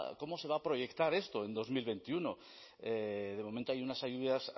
cómo se va a proyectar esto en dos mil veintiuno de momento hay unas ayudas